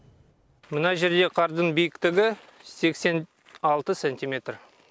мына жердегі қардың биіктігі сексен алты сантиметр